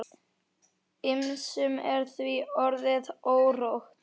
Ýmsum er því orðið órótt.